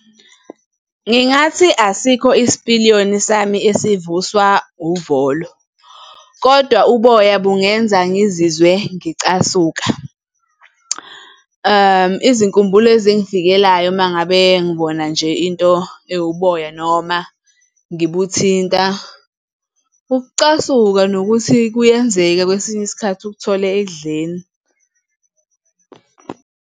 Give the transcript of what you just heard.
Ngingathi asikho isipiliyoni sami esivuswa uvolo, kodwa uboya bungenza ngizizwe ngicasuka. Izinkumbulo ezingfikelayo uma ngabe ngibona nje into ewuboya noma ngibuthinta, ukucasuka nokuthi kuyenzeka kwesinye isikhathi ukuthole ekudleni.